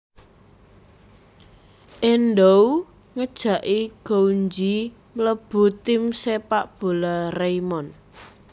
Endou ngejaki Gouenji mlebu tim Sepak bola Raimon